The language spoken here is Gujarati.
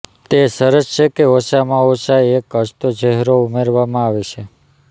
તે સરસ છે કે ઓછામાં ઓછા એક હસતો ચહેરો ઉમેરવામાં આવે છે